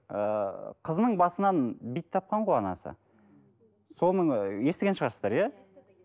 ы қызының басынан бит тапқан ғой анасы соның ы естіген шығарсыздар иә